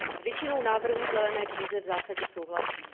S většinou návrhů v zelené knize v zásadě souhlasím.